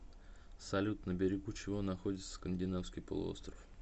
салют на берегу чего находится скандинавский полуостров